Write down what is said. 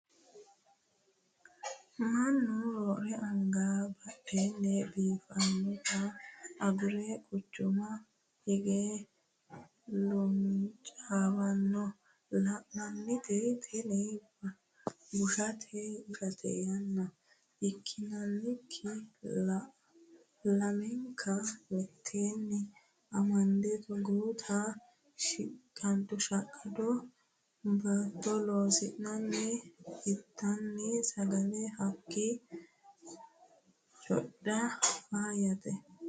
Mannu roore anga baadiyye biifanotta agure quchuma hige luncawanna la'nanni tini bushate yaa ikkikkini lamenka mitenni amande togoota shaqqado baattono loosi'nanni intanni sagale hakki codha faayyate.